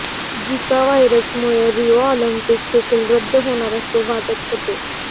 झिका व्हायरसमुळे Rio Olympic देखील रद्द होणार असे वाटत होते